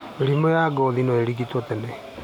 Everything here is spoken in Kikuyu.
Mĩrimũ ya ngothi noĩrigitwo tene